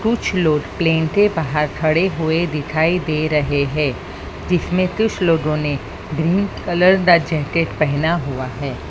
कुछ लोग प्लेन ते बाहर खड़े हुए दिखाई दे रहे हैं जिसमें कुछ लोगों ने ग्रीन कलर दा जैकेट पहना हुआ है।